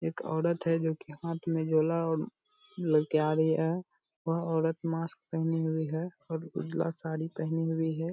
एक औरत है जो की हाथ में झोला ले के आ रही है वह औरत मास्क पहनी हुई है और उजला साड़ी पहनी हुई है।